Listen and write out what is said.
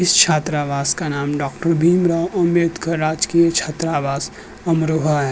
इस छात्रवास का नाम डॉ भीमराव अंबेडकर राजकीय छात्रवास अमरोहा है।